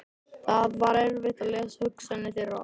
Það var erfitt að lesa hugsanir þeirra.